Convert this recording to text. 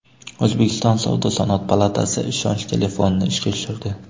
O‘zbekiston savdo-sanoat palatasi ishonch telefonini ishga tushirdi.